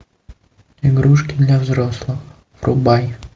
игрушки для взрослых врубай